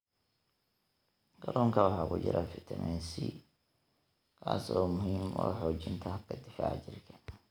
Kalluunka waxaa ku jira fitamiin C, kaas oo muhiim u ah xoojinta habka difaaca jirka.